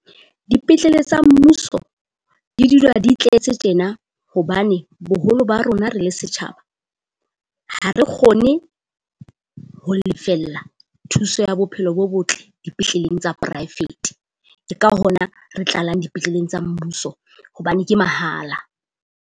Dipetlele tsa mmuso di dula di tletse tjena. Hobane boholo ba rona re le setjhaba ha re kgone ho lefella thuso ya bophelo bo botle dipetleleng tsa poraefete. Ke ka hona re tlalang dipetleleng tsa mmuso hobane ke mahala.